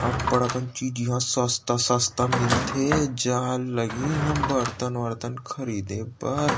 अब्बड़ अकन चीज ईहाँ सस्ता-सस्ता म मिलथे जाए ल लगही इहाँ बर्तन वर्तन खरीदे बर--